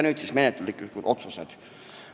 Nüüd siis menetluslikud otsused.